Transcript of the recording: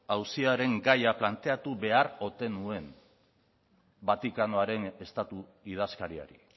auziaren gaia planteatu behar ote nuen vatikanoaren estatu idazkariari